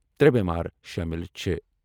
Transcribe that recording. ترے بیمار شاملی چھِ۔